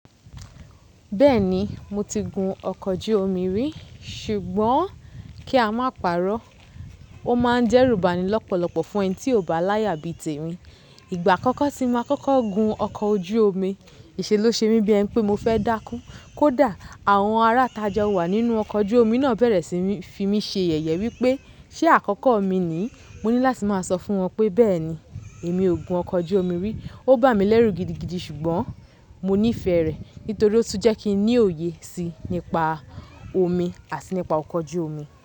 Bẹ́ẹ̀ni mo ti gun ọkọ̀ ojú omi rí ṣùgbọ́n kí a má pàrọ́, ó má ń dẹ́rúbànilọ́pọ̀lọ́pọ̀ fún ẹni tí ò bá láyà bí tèmi. Ìgbà àkọ́kọ́ tí mo máa kọ́kọ́ gun ọkọ̀ ojú omi, ìṣe ló ṣe mi bí ẹ pé mo fẹ́ dákú. Kódà àwọn aráa tajọ́ wà nínú ọkọ̀ ojú omi náà bẹ̀rẹ̀ sí ní fi mí ṣe yẹ̀yẹ wípé ṣe àkọ́kọ́ mi ni? Mò ní láti máa sọ fún wọn pé bẹ́ẹ̀ni èmi ò gun ọkọ̀ ojú omi rí. Ó bà mí lẹ́rù gidigidi ṣùgbọ́n mo nífẹ̀ẹ́ rẹ̀ nítorí ó tún jẹ́ kí n ní òye sí i nípa omi àti nípa ọkọ̀ ojú omi.